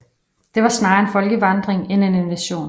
Det var snarere en folkevandring end en invasion